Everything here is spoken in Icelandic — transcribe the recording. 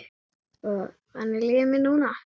Þannig líður mér núna.